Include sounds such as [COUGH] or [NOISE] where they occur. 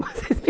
Mas é [UNINTELLIGIBLE]